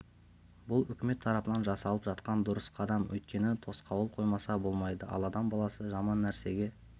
бұл үкімет тарапынан жасалып жатқан дұрыс қадам өйткені тосқауыл қоймаса болмайды ал адам баласы жаман нәрсеге